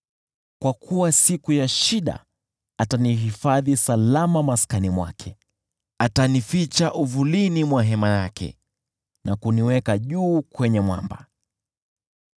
Kwa kuwa siku ya shida, atanihifadhi salama katika maskani yake, atanificha uvulini mwa hema yake na kuniweka juu kwenye mwamba.